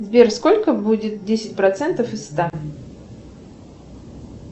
сбер сколько будет десять процентов из ста